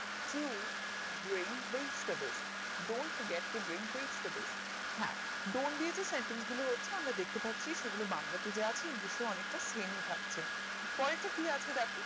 হ্যাঁ dont দিয়ে যে sentence হচ্ছে আমরা দেখতে পাচ্ছি সেগুলো বাংলা তে দেওয়া আছে english এ অনেকটা same এ থাকছে পরের টা কি আছে দ্যাখো